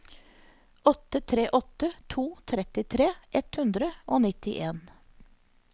åtte tre åtte to trettitre ett hundre og nittien